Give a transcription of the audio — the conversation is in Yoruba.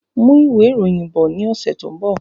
Mú ìwé ìròyìn bọ̀ ní ọsẹ tó n bọ